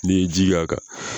N'i ye ji k'a kan.